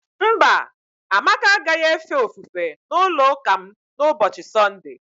Mba, Amaka agaghị efe ofufe n'ụlọụka m n'ụbọchị Sọnde.